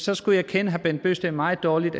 jeg skulle kende herre bent bøgsted meget dårligt